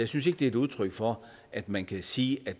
synes ikke det er et udtryk for at man kan sige at